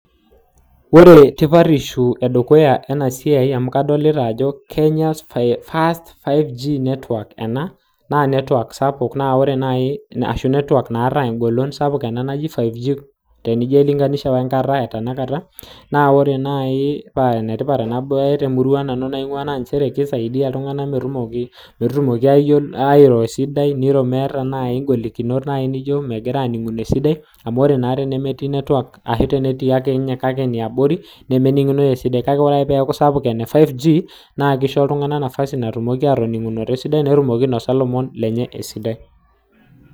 Ore tipatisho edukuya ena siai. amu kadolita Ajo Kenya first 5G network ena. naa network sapuk ashu network @ naata egolon ena naji 5G tenijo ailinganish we nkata etanakata. naa ore paa ene tipat naaji ena temurua nanu naingua naa nchere kisaidia iltunganak metumoki airo esidai. nwiro meeta ng'olikunot naaji nijo megira aaninguno esidai. amu ore metii network ashu tenetii ake kake eniabori nemeningunoi esidai. kake ore pee eilo aitobiraki. netumokini ainosao ilomon. lenye esidai.